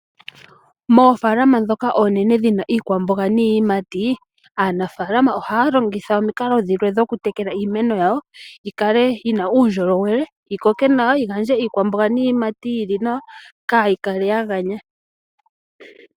Moofalama ndhoka oonene muna iikwamboga niiyimati, aanafalama ohaya longitha omikalo dhilwe dhokutekela iimeno yawo yi kale yina uundjolowele, yi koke nawa yi gandje iikwamboga niiyimati yi li nawa, kaayi kale ya ganya.